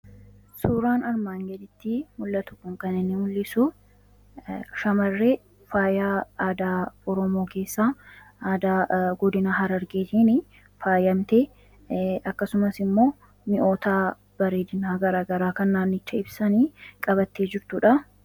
suuraan armaan gadittii mul'atu kun kan inni mul'isu shamarree faayaa aadaa ormoo keessaa aada godinaa harargeetin faayyamte akkasumas immoo mi'ootaa bareedinaa garagaraa kan naannicha ibsanii qabattee jirtuudha